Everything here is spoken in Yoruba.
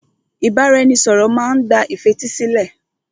Ìbáraẹnisọ̀rọ̀ má n gba ìfetísílẹ̀.